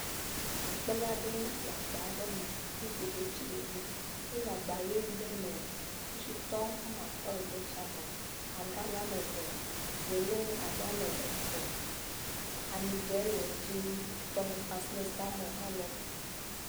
Akplẽ aɖe le agba me, woku detsi ɖe edzi. Ele agba ʋi aɖe me. Kpakpoeshitɔ atɔ̃ le detsia me, agalã eve, wolɛ abe etɔ, ami dzẽ le edzi, tɔmɔkpa kple salmɔ hã le eme.